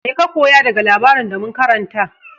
Mai ka koya daga labarin da mun karanta?